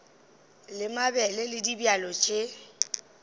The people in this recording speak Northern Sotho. la mabele le dibjalo tše